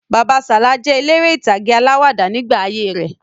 Bàbá Sala jẹ eléré ìtàgé alawada nígbà ayé rẹ̀